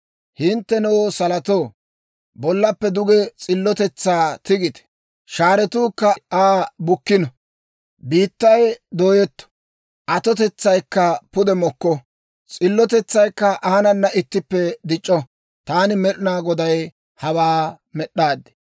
«Hinttenoo salotoo, bollappe duge s'illotetsaa tigite; shaaretuukka Aa bukkino. Biittay dooyetto; atotetsaykka pude mokko. S'illotetsaykka aanana ittippe dic'c'o. Taani Med'inaa Goday hawaa med'd'aad.